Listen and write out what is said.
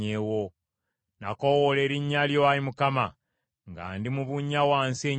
“Nakoowoola erinnya lyo, Ayi Mukama , nga ndi mu bunnya wansi ennyo;